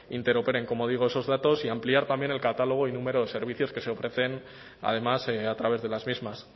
interoperen como digo esos datos y ampliar también el catálogo y número de servicios que se ofrecen además a través de las mismas